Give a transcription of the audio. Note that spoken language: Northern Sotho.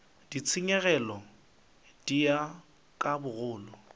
ditshenyegelo di ya ka bogolo